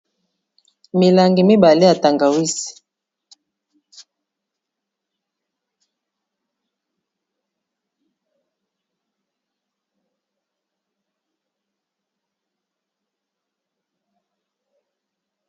milangi mibale yatanga wisi